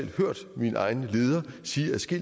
synes det